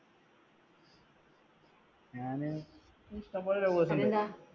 ഞാന്